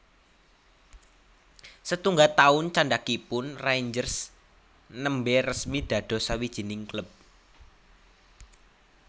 Setungga taun candhakipun Rangers nembè resmi dados sawijining klub